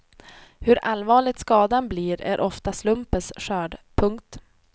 Hur allvarlig skadan blir är ofta slumpens skörd. punkt